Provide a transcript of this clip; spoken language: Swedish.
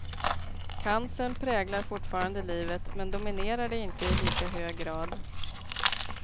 Cancern präglar fortfarande livet men dominerar det inte i lika hög grad.